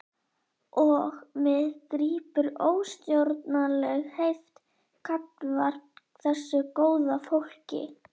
Og mig grípur óstjórnleg heift gagnvart þessu góða fólki.